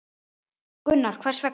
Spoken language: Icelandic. Gunnar: Hvers vegna?